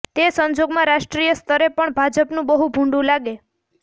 તે સંજોગોમાં રાષ્ટ્રીય સ્તરે પણ ભાજપનું બહું ભૂંડું લાગે